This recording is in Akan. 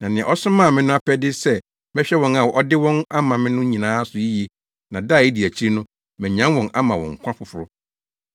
Na nea ɔsomaa me no apɛde ne sɛ mɛhwɛ wɔn a ɔde wɔn ama me no nyinaa so yiye na da a edi akyiri no, manyan wɔn ama wɔn nkwa foforo.